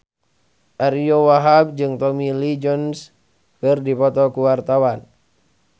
Ariyo Wahab jeung Tommy Lee Jones keur dipoto ku wartawan